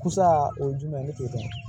Kusa o ye jumɛn ye ne t'o dɔn